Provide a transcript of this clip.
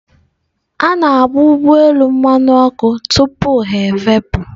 A na-agba ụgbọ elu mmanụ ọkụ tupu ha efepụ.